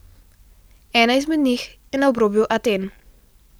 Ena izmed njih je na obrobju Aten.